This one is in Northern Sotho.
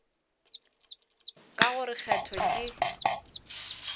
ka go re kgetho ke